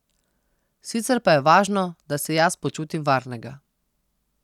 Sicer pa je važno, da se jaz počutim varnega.